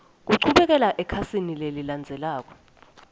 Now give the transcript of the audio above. kuchubekela ekhasini lelilandzelako